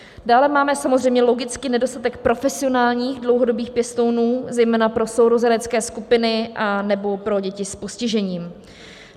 Dále máme samozřejmě logicky nedostatek profesionálních dlouhodobých pěstounů, zejména pro sourozenecké skupiny anebo pro děti s postižením.